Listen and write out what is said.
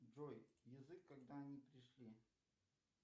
джой язык когда они пришли